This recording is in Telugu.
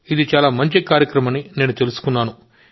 ఇది చాలా మంచి కార్యక్రమమని నేను తెలుసుకున్నాను